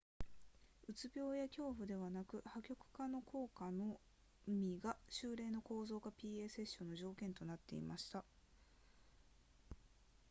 うつ病や恐怖ではなく破局化の効果のみが週例の構造化 pa セッションの条件となっていました